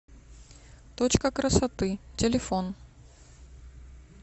точка красоты телефон